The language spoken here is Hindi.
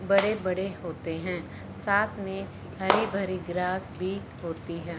बड़े बड़े होते हैं साथ में हरे भरे ग्रास भी होती हैं।